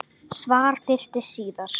Svar birtist síðar.